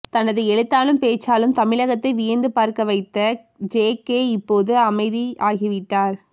தனது எழுத்தாலும் பேச்சாலும் தமிழகத்தையே வியந்து பார்க்க வைத்த ஜேகே இப்போது அமைதியாகிவிட்டார்